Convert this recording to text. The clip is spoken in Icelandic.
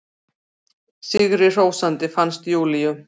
Sigrihrósandi, finnst Júlíu.